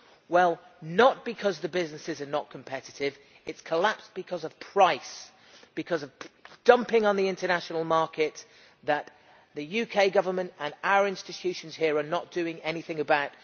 Well, not because the businesses are not competitive it has collapsed because of price, because of dumping on the international market that the UK Government and our institutions here are not doing anything about.